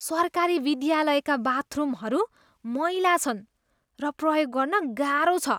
सरकारी विद्यालयका बाथरुमहरू मैला छन् र प्रयोग गर्न गाह्रो छ।